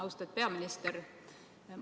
Austatud peaminister!